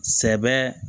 Sɛbɛ